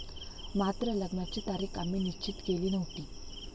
मात्र लग्नाची तारीख आम्ही निश्चित केली नव्हती.